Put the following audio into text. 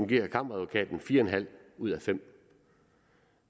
giver kammeradvokaten fire en halv ud af femte